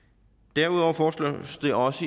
derudover foreslås det også